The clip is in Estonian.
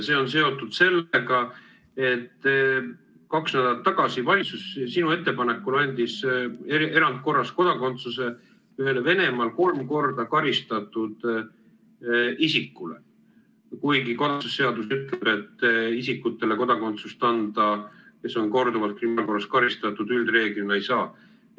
See on seotud sellega, et kaks nädalat tagasi valitsus sinu ettepanekul andis erandkorras kodakondsuse ühele Venemaal kolm korda karistatud isikule, kuigi kodakondsuse seadus ütleb, et isikutele, keda on korduvalt kriminaalkorras karistatud, üldreeglina ei anta.